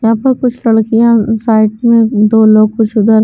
यहाँ पर कुछ लड़कियाँ साइड में दो लोग कुछ उधर --